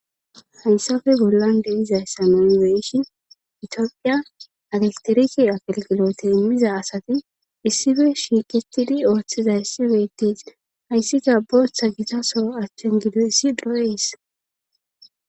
Hansafe gollan deizay samamiweyishin itiophiya alesteriki akelgilote immiza asati issife shiiqetidi ooththiza issibeytes hayssika booththa gitaso achchen gido issi dro'ees.